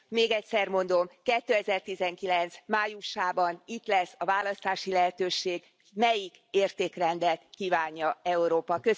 Még egyszer mondom 2019 májusában itt lesz a választási lehetőség, melyik értékrendet kívánja Európa.